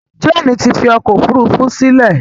Jane tí fí ọkọ òfurufú sílè